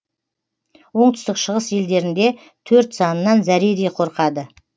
оңтүстік шығыс елдерінде төрт санынан зәредей қорқады